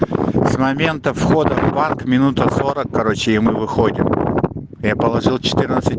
с момента входа в парк минута сорок короче и мы выходим я положил четырнадцать